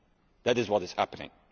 That is what is happening.